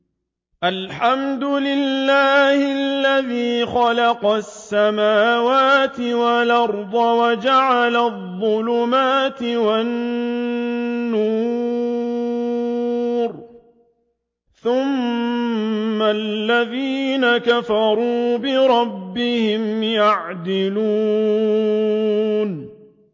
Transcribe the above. الْحَمْدُ لِلَّهِ الَّذِي خَلَقَ السَّمَاوَاتِ وَالْأَرْضَ وَجَعَلَ الظُّلُمَاتِ وَالنُّورَ ۖ ثُمَّ الَّذِينَ كَفَرُوا بِرَبِّهِمْ يَعْدِلُونَ